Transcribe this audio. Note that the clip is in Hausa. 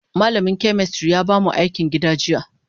Malamin chemistry ya bamu akin gida jiya.